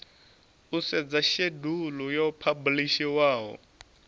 u sedza shedulu yo phabulishiwaho